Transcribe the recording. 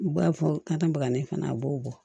U b'a fɔ kata bagani fana a b'o bɔ